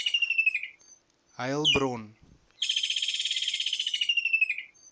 heilbron